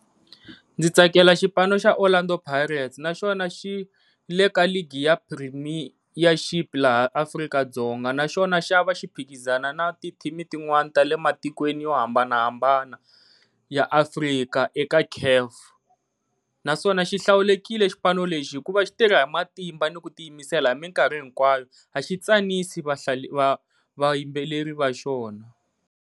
Ndzi tsakela xipano xa Orlando Pirates naswona xi le ka league ya premeirship laha Afrika-Dzonga naswona xa va xi phikizana na ti team tin'wana ta le matikweni yo hambanahambana ya Afrika eka C_A_F, naswona xi hlawulekile xipano lexi hikuva xi tirha hi matimba ni ku tiyimisela hi minkarhi hinkwayo a xi tsanisi va va yimbeleri va xona.